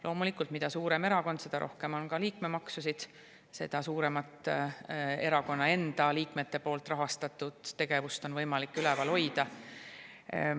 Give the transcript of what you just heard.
Loomulikult, mida suurem erakond, seda rohkem on ka liikmemaksusid, seda suuremat erakonna enda liikmete poolt rahastatud tegevust on võimalik üleval hoida.